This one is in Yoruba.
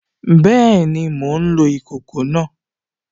Bẹ́ẹ̀ni, mò ń lo ìkòkò náà